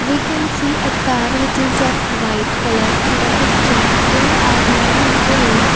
we can see a car which is of white colour in the picture there are many trees.